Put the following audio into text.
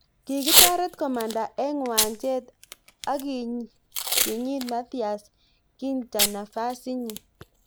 Kikitaret komanda eng' uwanjet ak kinyiit Matthias Ginter nafasitnyi